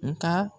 Nga